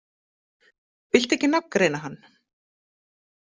Viltu ekki nafngreina hann?